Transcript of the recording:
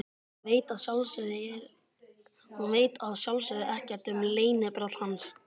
Hún veit að sjálfsögðu ekkert um leynibrall hans.